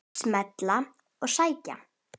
Smella og sækja.